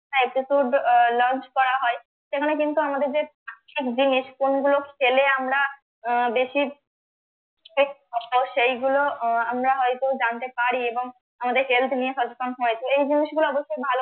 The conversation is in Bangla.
launch করা হয় সেখানে কিন্তু আমাদের যে জিনিস কোনগুলো খেলে আমরা আহ বেশি তো সেইগুলো আহ আমরা হয়তো জানতে পারি এবং আমাদের health নিয়ে সচেতন হয়, এই জিনিসগুলো অবশ্যই ভালো